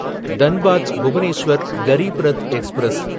Dhanbad Bhubaneswar Garib Rath express